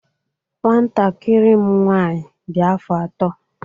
Nwantakịrị m nwaanyị dị afọ atọ.